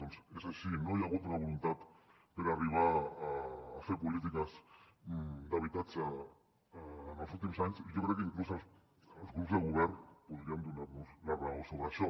doncs és així no hi ha hagut una voluntat per arribar a fer polítiques d’habitatge en els últims anys i jo crec que inclús els grups de govern podrien donar nos la raó sobre això